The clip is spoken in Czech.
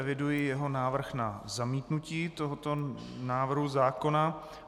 Eviduji jeho návrh na zamítnutí tohoto návrhu zákona.